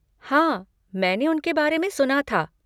हाँ, मैंने उनके बारे में सुना था।